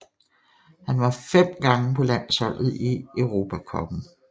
Han var fem gange på landsholdet i Europa cupen